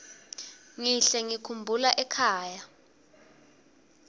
ngihle ngikhumbula ekhaya